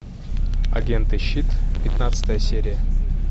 агенты щит пятнадцатая серия